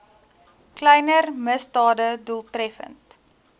kleiner misdade doeltreffend